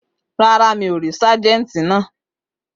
Rárá, mi ò rí sájẹ́ǹtì náà